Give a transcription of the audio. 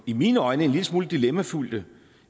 i mine øjne en lille smule dilemmafyldte